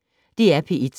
DR P1